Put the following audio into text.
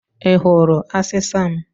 I hụrụ asịsa m?